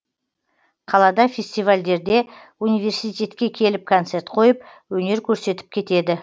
қалада фестивальдерде университетке келіп концерт қойып өнер көрсетіп кетеді